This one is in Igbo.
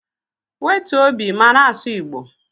Wetuo obi ma na-asụ igbo